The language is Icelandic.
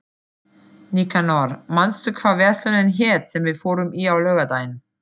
Nikanor, manstu hvað verslunin hét sem við fórum í á laugardaginn?